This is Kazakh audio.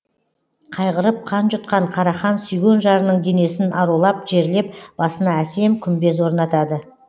қайғырып қан жұтқан қарахан сүйген жарының денесін арулап жерлеп басына әсем күмбез орнатады